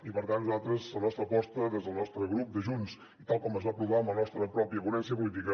i per tant la nostra aposta des del nostre grup de junts i tal com es va aprovar en la nostra pròpia ponència política